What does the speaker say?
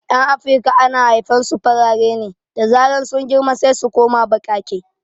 Yan afirika ana haifan su farare ne, da zaran sun girma sai su koma baƙaƙe